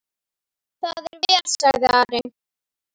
Það er vel, sagði Ari.